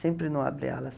Sempre no Abre Alas.